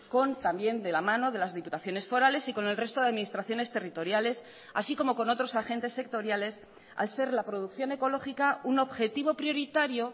con también de la mano de las diputaciones forales y con el resto de administraciones territoriales así como con otros agentes sectoriales al ser la producción ecológica un objetivo prioritario